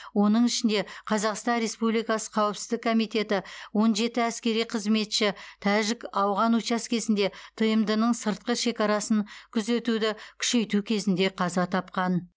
оның ішінде қазақстан республикасы қауіпсіздік комитеті он жеті әскери қызметші тәжік ауған учаскесінде тмд ның сыртқы шекарасын күзетуді күшейту кезінде қаза тапқан